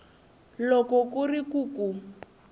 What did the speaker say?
loko ku ri ku ku